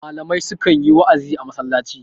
malamai sukan yi wa'azi a masallaci